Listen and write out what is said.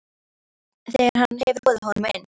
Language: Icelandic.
spyr Svenni þegar hann hefur boðið honum inn.